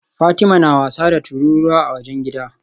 Fatima na wasa da tururuwa a wajen gidan